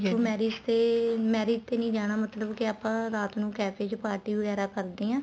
ਤੂੰ marriage ਤੇ marriage ਤੇ ਨਹੀਂ ਜਾਣਾ ਮਤਲਬ ਕੇ ਆਪਾਂ ਰਾਤ ਨੂੰ café ਚ party ਵਗੈਰਾ ਕਰਦੇ ਹਾਂ